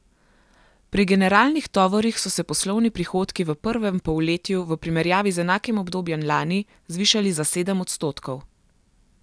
Pri generalnih tovorih so se poslovni prihodki v prvem polletju v primerjavi z enakim obdobjem lani zvišali za sedem odstotkov.